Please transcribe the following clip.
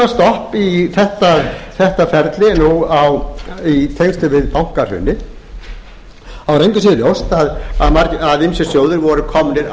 hafi komið núna stopp í þetta ferli nú í tengslum við bankahrunið er engu að síður ljóst að ýmsir sjóðir voru komnir